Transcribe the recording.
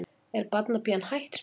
Er barnapían hætt? spurði hann.